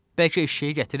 Bəlkə eşşəyi gətirib?